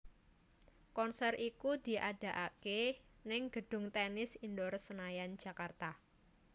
Konser iku diadakaké ning gedung Tennis Indoor Senayan Jakarta